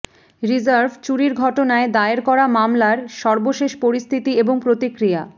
reserve চুরির ঘটনায় দায়ের করা মামলার সর্বশেষ পরিস্থিতি এবং প্রতিক্রিয়া